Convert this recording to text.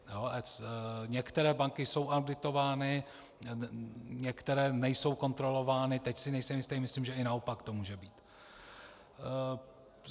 Některé banky jsou auditovány, některé nejsou kontrolovány, teď si nejsem jistý, myslím, že i naopak to může být.